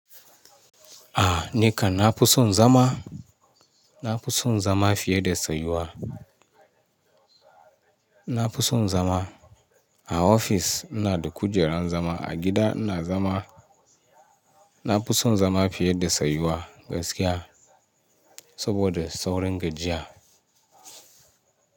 A, ni ka nafi son zama, nafi son zama fiye da tsayuwa. Nafi son zama a ofis ina da kujerar zama, a gida ina zama. Na kuso zama fiye da soyuwa gaskiya saboda saurin gajiya.